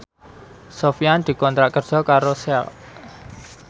Sofyan dikontrak kerja karo Shell